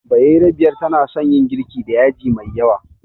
Bayerabiyar tana son yin girki da yaji mai yawa